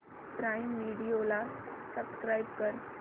prime video ला subscribe कर